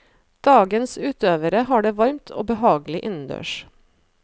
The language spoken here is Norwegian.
Dagens utøvere har det varmt og behagelig innendørs.